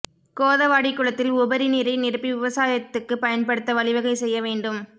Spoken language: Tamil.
கோதவாடி குளத்தில் உபரி நீரை நிரப்பி விவசாயத்துக்கு பயன்படுத்த வழிவகை செய்ய வேண்டும்